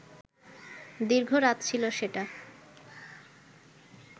দীর্ঘ রাত ছিল সেটা